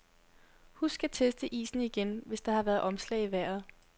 Husk at teste isen igen, hvis der har været omslag i vejret.